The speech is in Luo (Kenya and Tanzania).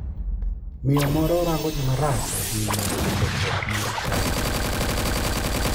Miyo moro rango ji marach ahinya e chokruok mar chadi.